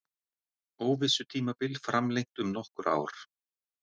Óvissutímabil framlengt um nokkur ár